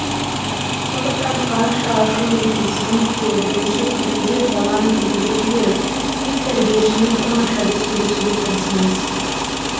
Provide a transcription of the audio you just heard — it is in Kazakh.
сондықтан қанша ашумен келсеңіз де бірінші күлімдеп баланы кіргізіп жіберіп кейін тәрбиешімен оңашада сөйлесуге тырысыңыз